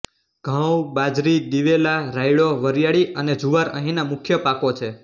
ઘઉં બાજરી દીવેલા રાયડો વરીયાળી અને જુવાર અહીંના મુખ્ય પાકો છે